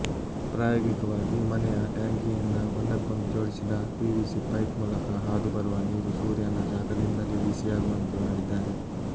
ಪ್ರಾಯೋಗಿಕವಾಗಿ ಮನೆಯ ಟ್ಯಾಂಕಿಯಿಂದ ಒಂದಕ್ಕೊಂದು ಜೋಡಿಸಿದ ಪಿವಿಸಿ ಪೈಪ್ ಮೂಲಕ ಹಾದು ಬರುವ ನೀರು ಸೂರ್ಯನ ಶಾಖದಿಂದಲೇ ಬಿಸಿಯಾಗುವಂತೆ ಮಾಡಿದ್ದಾರೆ